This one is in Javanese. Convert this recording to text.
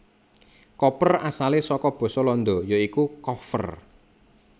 Koper asalé saka basa Landa ya iku koffer